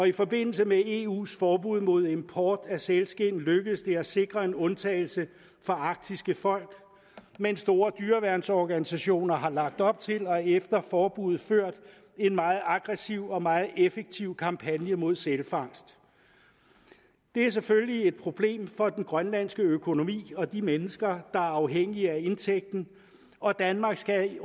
i forbindelse med eus forbud mod import af sælskind lykkedes det at sikre en undtagelse for arktiske folk men store dyreværnsorganisationer har lagt op til og efter forbuddet ført en meget aggressiv og meget effektiv kampagne mod sælfangst det er selvfølgelig et problem for den grønlandske økonomi og de mennesker der er afhængige af indtægten og danmark skal